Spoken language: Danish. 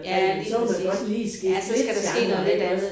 Ja lige præcis. Ja så skal der ske noget lidt andet